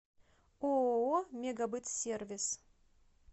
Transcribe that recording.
ооо мегабытсервис